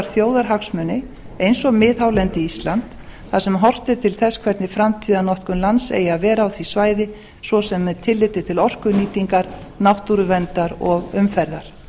þjóðarhagsmuni eins og miðhálendi íslands þar sem horft er til þess hvernig framtíðarnotkun lands eigi að vera á því svæði svo sem með tilliti til orkunýtingar náttúruverndar og umferðar